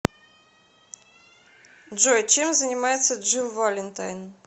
джой чем занимается джилл валентайн